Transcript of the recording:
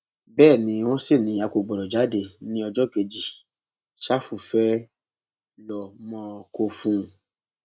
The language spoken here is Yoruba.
bẹẹ ni wọn sì ní a kò gbọdọ jáde ní ọjọ kejì ṣàfù fee ló mọ kó fún un